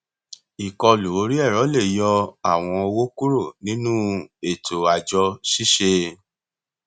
ìkọlù orí ẹrọ lè yọ àwọn owó kúrò nínú ètò àjọ ṣíṣe